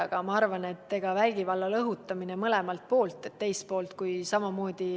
Aga ma arvan, et vägivalla õhutamine kummaltki poolt.